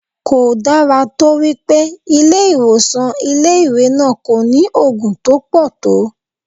Kò dára tó wípé ilé ìwòsàn ilé ìwé náà kò ní Ògùn tó pọ̀ tó.